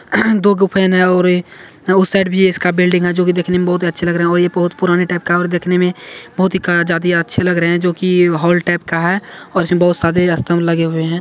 दो गुफे हैं नया और इ अ उस साइड भी है इसका बिल्डिंग है जो कि देखने में बहुत ही अच्छे लग रहे हैं और ये बहुत पुराने टाइप का है और देखने में बहुत ही ज्यादे अच्छे लग रहे हैं जो कि हॉल टाइप का है और इसमें बहुत सारे स्तंभ लगे हुए हैं।